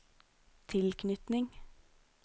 tilknytning